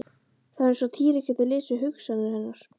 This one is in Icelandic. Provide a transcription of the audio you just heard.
Það var eins og Týri gæti lesið hugsanir hennar.